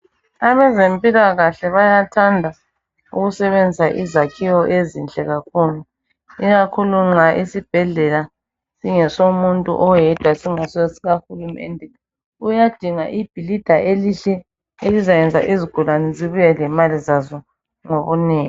Abezempilakahle bayathanda ukusebenzisa izakhiwo ezinhle kakhulu ikakhulu nxa isibhedlela singesomuntu oyedwa singayisiso sikahulumende uyadinga ibhilida elihle elizayenza izigulane zibuye lemali zazo ngobunengi